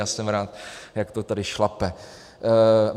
Já jsem rád, jak to tady šlape.